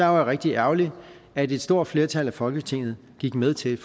var rigtig ærgerligt at et stort flertal af folketinget gik med til